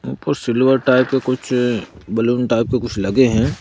ऊपर silver type के कुछ बलून टाइप के कुछ लगे हैं ।